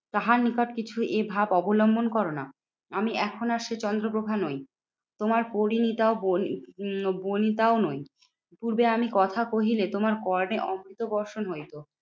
তাহার নিকট কিছু এই ভাব অবলম্বন করোনা। আমি এখন আর সেই চন্দ্রপ্রভা নই তোমার পরিনিতা বই উম বনিতাও নই। পূর্বে আমি কথা কহিলে তোমার কর্ণে অমৃত বর্ষণ হইতো।